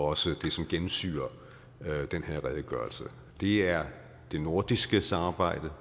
også det som gennemsyrer den her redegørelse det er det nordiske samarbejde